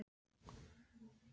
Eins lengi og ég man eftir mér.